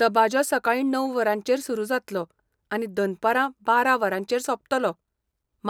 दबाजो सकाळीं णव वरांचेर सुरू जातलो आनी दनपारां बारा वरांचेर सोंपतलो,